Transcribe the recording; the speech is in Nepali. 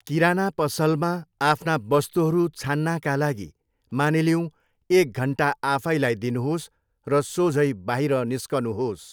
किराना पसलमा आफ्ना वस्तुहरू छान्नका लागि, मानिलिऊँ, एक घन्टा आफैलाई दिनुहोस् र सोझै बाहिर निस्कनुहोस्।